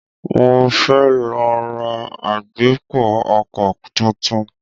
Mo fẹ́ lọ ra agbépo-ọkọ̀ tuntun.